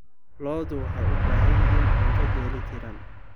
Lo'du waxay u baahan yihiin cunto dheellitiran.